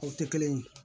O tɛ kelen ye